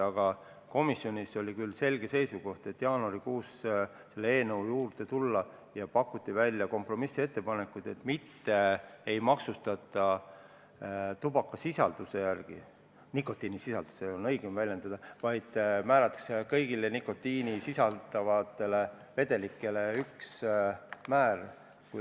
Aga komisjonis oli küll selge seisukoht, et jaanuarikuus tuleb selle eelnõuga edasi minna, ja pakuti välja kompromissettepanek, et maksustamine ei toimu tubakasisalduse järgi – õigem on küll öelda "nikotiinisisalduse järgi" –, vaid kõigile nikotiini sisaldavatele vedelikele kehtestatakse üks määr.